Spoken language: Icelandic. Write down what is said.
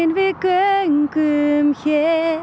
við göngum hér